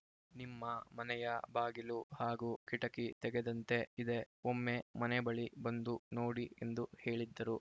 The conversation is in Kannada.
ನಿಮ್ಮ ಮನೆಯ ಬಾಗಿಲು ಹಾಗೂ ಕಿಟಕಿ ತೆಗೆದಂತೆ ಇದೆ ಒಮ್ಮೆ ಮನೆ ಬಳಿ ಬಂದು ನೋಡಿ ಎಂದು ಹೇಳಿದ್ದರು